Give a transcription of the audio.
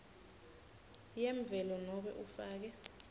yemvelo nobe ufake